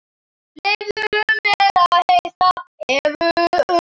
Leyfðu mér að hitta Evu.